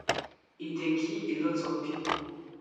e dey kill a lot of pipo